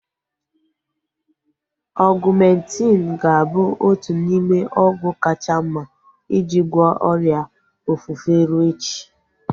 Ọgumentin ga-abụ otu n'ime ọgwụ kacha mma iji gwọọ ọrịa ofufe rue echi